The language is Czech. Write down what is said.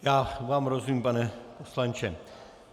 Já vám rozumím, pane poslanče.